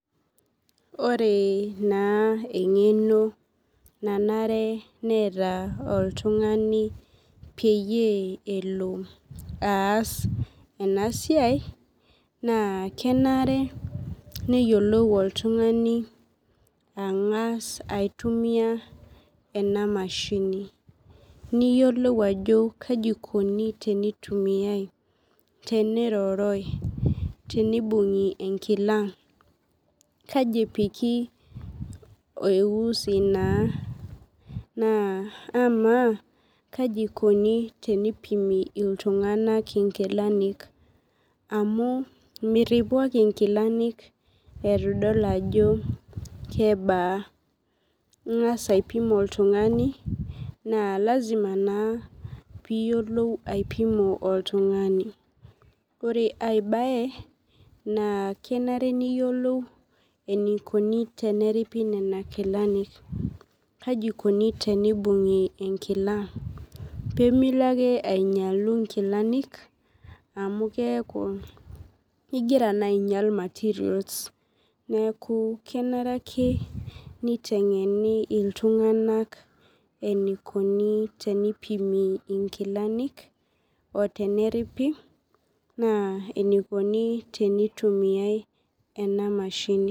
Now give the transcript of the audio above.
Ore na engeno nanare neeta oltungani peyie elobaas enasiai na kenare neyiolou oltungani angas aitumia enamashini niyiolou ajo kaja ikuni tenitumiai teneroroi tenibungu enkila kaji epiki eusi na na ama kaikuni teneipimi ltunganak nkilani amu miripubake nkilani itu idol ajo kebaa ingasa aipim oltungani na lasima na aipimu oltungani ore aibae na kenare niyiolou enikuni tenim